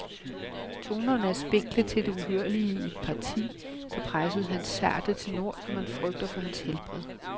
Tonerne er spinkle til det uhørlige i et parti, der presser hans sarte tenor, så man frygter for hans helbred.